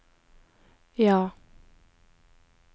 ja